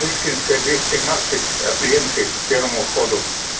пушкинская двести тринадцать от ленты к первому входу